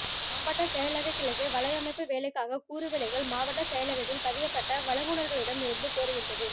மாவட்டச் செயலகக் கிளைக்கு வலையமைப்பு வேலைக்காக கூறுவிலைகள் மாவட்டச் செயலகத்தில் பதியப்பட்ட வழங்குனர்களிடம் இருந்து கோருகின்றது